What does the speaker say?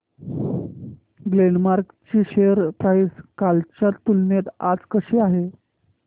Glenmark ची share price कालच्या तुलनेत आज कशी आहे